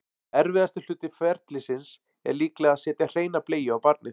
erfiðasti hluti ferlisins er líklega að setja hreina bleiu á barnið